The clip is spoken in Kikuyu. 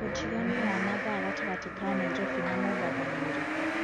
utiganu wa mathaa gatagati ka naĩrobĩ na mombatha nĩ ũrĩkũ